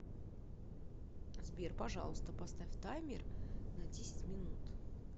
сбер пожалуйста поставь таймер на десять минут